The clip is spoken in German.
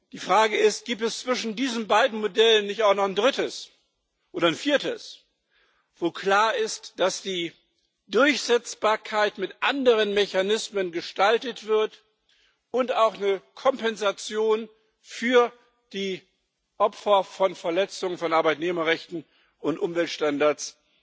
Die Frage ist Gibt es zwischen diesen beiden Modellen nicht auch noch ein drittes oder ein viertes, wo klar ist, dass die Durchsetzbarkeit mit anderen Mechanismen gestaltet wird und auch eine Kompensation für die Opfer von Verletzungen von Arbeitnehmerrechten und Umweltstandards